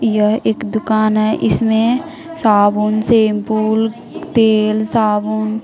यह एक दुकान है इसमें साबुन शैंपू तेल साबुन।